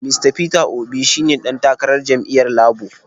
Mista Peter Obi shi ne ɗan takarar jam’iyyar Labo.